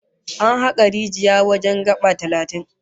An haka rijiya wajen gaba talatin